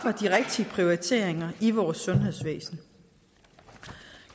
rigtige prioriteringer i vores sundhedsvæsen